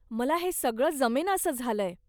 मला हे सगळं जमेनासं झालंय.